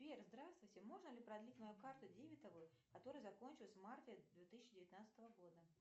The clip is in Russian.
сбер здравствуйте можно ли продлить мою карту дебетовую которая закончилась в марте две тысячи девятнадцатого года